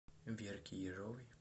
верки ежовой